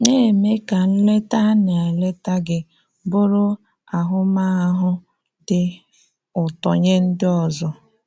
Ná-eme ka nleta a na-eleta gị bụrụ àhụ́mahụ́ dị ụ̀tọ̀ nye ndị ọzọ.